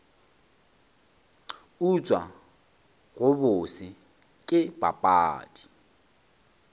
utswa go bose ke papadi